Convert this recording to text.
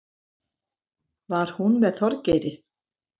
Var hún með Þorgeiri?